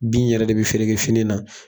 Bin yɛrɛ de bɛ fini na